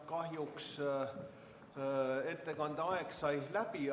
Kahjuks sai ettekande aeg läbi.